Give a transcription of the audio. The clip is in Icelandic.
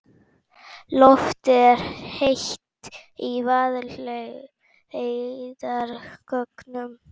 Loftið er heitt í Vaðlaheiðargöngum.